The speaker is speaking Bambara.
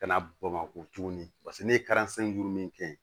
Ka na bamakɔ tuguni paseke ne ye juru min kɛ